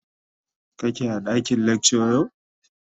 kake a dakin lecture yau?